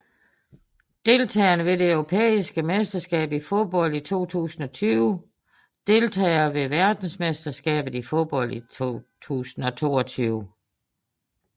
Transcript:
Deltagere ved det europæiske mesterskab i fodbold 2020 Deltagere ved verdensmesterskabet i fodbold 2022